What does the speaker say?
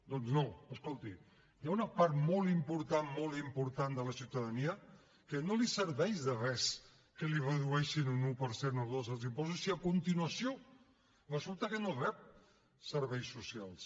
doncs no escolti hi ha una part molt important molt important de la ciutadania que no li serveix de res que li redueixin un un per cent o un dos els impostos si a continuació resulta que no rep serveis socials